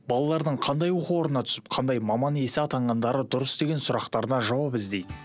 балалардың қандай оқу орнына түсіп қандай маман иесі атанғандары дұрыс деген сұрақтарына жауап іздейді